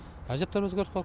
әжептәуір өзгеріс бар